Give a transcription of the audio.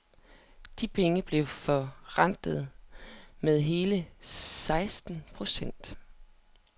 De penge blev forrentet med hele seksten procent.